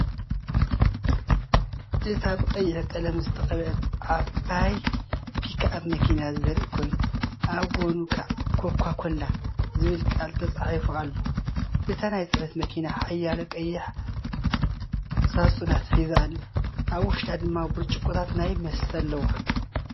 እዚ ብቐይሕ ቀለም ዝተቐብአ ዓባይ ፒክኣፕ መኪና ዘርኢ ኮይኑ፡ ኣብ ጎድኑ "ኮካ-ኮላ" ዝብል ቃል ተጻሒፉ ኣሎ። እታ ናይ ጽዕነት መኪና ሓያሎ ቀያሕቲ ሳጹናት ሒዛ ኣላ፡ ኣብ ውሽጣ ድማ ብርጭቆታት ናይቲ መስተ ኣለዋ።